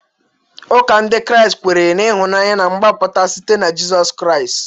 Ụka Ndị Kraịst kwere na ịhụnanya na mgbapụta site na Jizọs Kraịst.